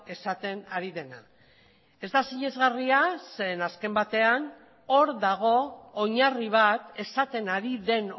esaten ari dena ez da sinesgarria zeren azken batean hor dago oinarri bat esaten ari den